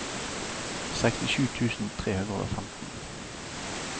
sekstisju tusen tre hundre og femten